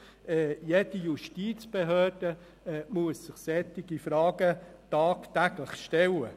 Jede Justizbehörde muss sich solche Fragen tagtäglich stellen.